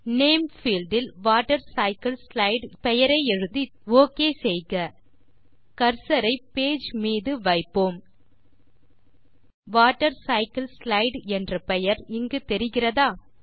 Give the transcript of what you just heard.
name field இல் water cycle slide என பெயரை எழுதுவோம் ஒக் செய்க கர்சர் ஐ பேஜ் மீது வைப்போம் வாட்டர்சைக்கிள்ஸ்லைடு என்ற பெயர் இங்கு தெரிகிறதா